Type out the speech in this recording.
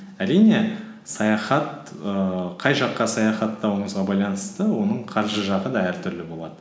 әрине саяхат ііі қай жаққа саяхаттауыңызға байланысты оның қаржы жағы да әртүрлі болады